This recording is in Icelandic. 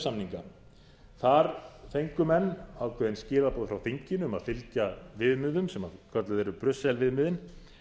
samninga þar fengu menn ákveðin skilaboð frá þinginu um að fylgja viðmiðum sem kölluð eru brussel viðmiðin